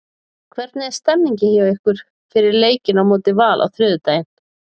Hvernig er stemmningin hjá ykkur fyrir leikinn á móti Val á þriðjudaginn?